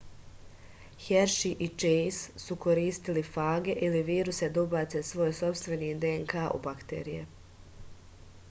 herši i čejs su koristili fage ili viruse da ubace svoj sopstveni dnk u bakterije